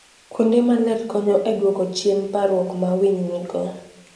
Kuonde maler konyo e duoko chien parruok ma winy nigo.